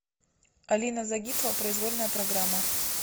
алина загитова произвольная программа